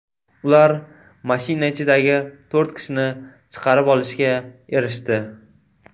Ular mashina ichidagi to‘rt kishini chiqarib olishga erishdi.